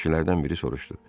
Kişilərdən biri soruşdu.